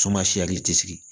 tɛ sigi